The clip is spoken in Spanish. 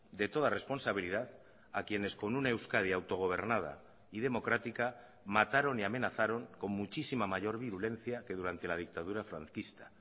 de toda responsabilidad a quienes con una euskadi autogobernada y democrática mataron y amenazaron con muchísima mayor virulencia que durante la dictadura franquista